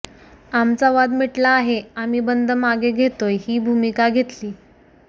आमचा वाद मिटला आहे आम्ही बंद मागे घेतोय ही भूमिका घेतली